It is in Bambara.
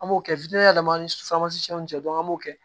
An b'o kɛ ani cɛ an b'o kɛ